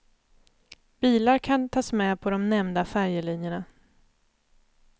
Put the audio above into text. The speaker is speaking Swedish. Bilar kan tas med på de nämnda färjelinjerna.